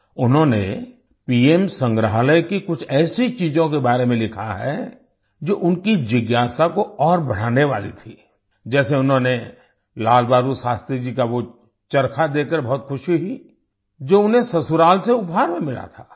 उन्होंने पीएम संग्रहालय की कुछ ऐसी चीज़ों के बारे में लिखा है जो उनकी जिज्ञासा को और बढ़ाने वाली थी जैसे उन्होंने लाल बहादुर शास्त्री जी का वो चरखा देखकर बहुत खुशी हुई जो उन्हें ससुराल से उपहार में मिला था